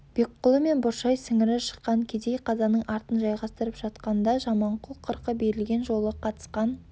бекқұлы мен бұршай сіңірі шыққан кедей қазаның артын жайғастырып жатқан да жаманқұл қырқы берілген жолы қатысқан